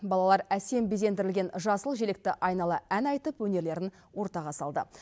балалар әсем безендірілген жасыл желекті айнала ән айтып өнерлерін ортаға салды